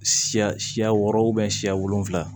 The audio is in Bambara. Siya siya wɔɔrɔ siya wolonvila